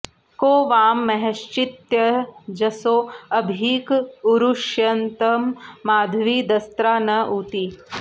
को वां॑ म॒हश्चि॒त्त्यज॑सो अ॒भीक॑ उरु॒ष्यतं॑ माध्वी दस्रा न ऊ॒ती